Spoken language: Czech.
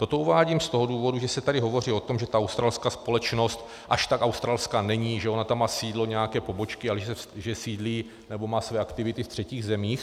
- Toto uvádím z toho důvodu, že se tady hovoří o tom, že ta australská společnost až tak australská není, že ona tam má sídlo nějaké pobočky a že sídlí, nebo má své aktivity, v třetích zemích.